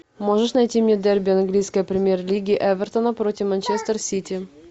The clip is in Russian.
можешь найти мне дерби английской премьер лиги эвертона против манчестер сити